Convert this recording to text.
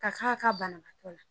Ka ka ka bana